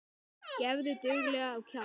Gefðu duglega á kjaft.